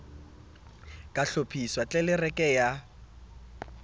ka hlophiswa le tlelereke ya